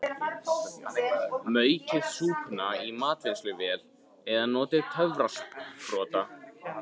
Maukið súpuna í matvinnsluvél eða notið töfrasprota.